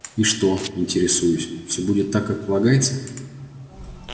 и что интересуюсь всё будет так как полагается